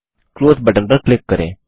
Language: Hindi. क्लोज बटन पर क्लिक करें